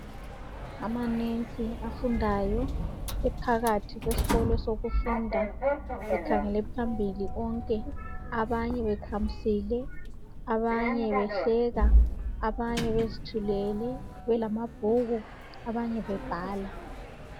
Amanensi afundayo, ephakathi kwesikolo sokufunda ekhangele phambili onke, abanye bekhamisile, abanye behleka, abanye bezithulele belamabhuku, abanye bebhala